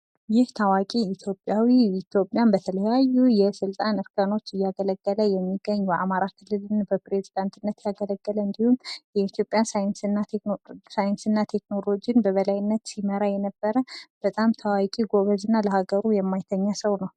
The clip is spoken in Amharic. ይህ ታዋቂ ኢትዮጵያን በተለያዩ የስልጣን እርከኖች እያገለገለ የሚገኝ በአማራ ክልል በፕሬዚዳንት ያገለገለን እንዲሁም የኢትዮጵያ ሳይንስና ቴክኖሎጂን በበላይነት ሲመራ የነበረ በጣም ታዋቂ ጎበዝ እና ለሀገሩ የማይተኛ ሰው ነው።